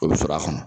O bɛ sɔrɔ a kɔnɔ